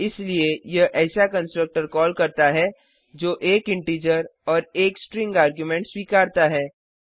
इसलिए यह ऐसा कंस्ट्रक्टर कॉल करता है जो 1 इंटीजर और 1 स्ट्रिंग आर्गुमेंट स्वीकारता है